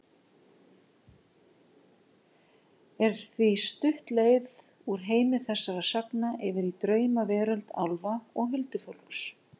Er því stutt leið úr heimi þessara sagna yfir í draumaveröld álfa og huldufólks.